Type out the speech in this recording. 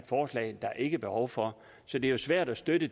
forslag der ikke er behov for så det er svært at støtte